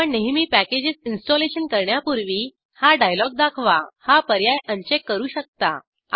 आपण नेहमी packages installation करण्यापूर्वी हा डायलॉग दाखवा हा पर्याय अनचेक करू शकता